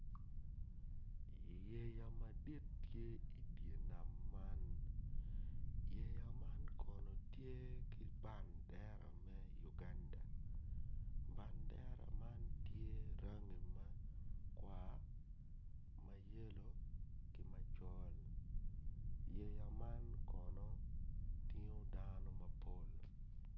Yeya madit tye i dye nam man yeya man kono tye ki bandera me Uganda badera man tye rangi makwar mayelo kima col yeya man kono tingo dano mapol